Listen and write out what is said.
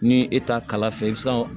Ni e ta kala fɛ i bi se ka